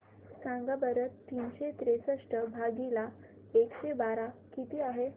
सांगा बरं तीनशे त्रेसष्ट भागीला एकशे बारा किती आहे